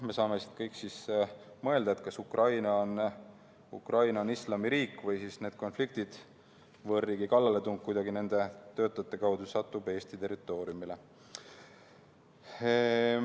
Me saame kõik mõelda, kas Ukraina on islamiriik ja kas need konfliktid, võõrriigi kallaletung vms kuidagi nende töötajate kaudu võivad jõuda Eesti territooriumile.